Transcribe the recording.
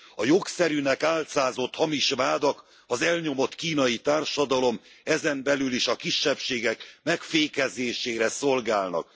A jogszerűnek álcázott hamis vádak az elnyomott kínai társadalom, ezen belül is a kisebbségek megfékezésére szolgálnak.